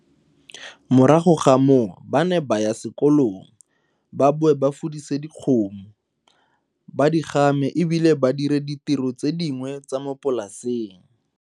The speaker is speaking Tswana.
Morago ga moo ba ne ba ya sekolong, ba boe ba fudise dikgomo, ba di game e bile ba dire ditiro tse dingwe tsa mo polaseng.